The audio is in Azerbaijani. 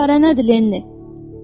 Çarə nədir, Lenni?